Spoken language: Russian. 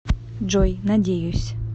джой надеюсь